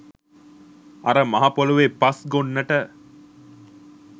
අර මහපොළොවෙ පස් ගොන්නට